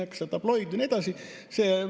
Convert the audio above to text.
Kas ta on tabloid ja nii edasi?